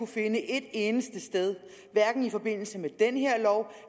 finde et eneste sted hverken i forbindelse med den her lov